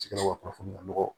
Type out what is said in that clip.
kunnafoni ɲɔgɔ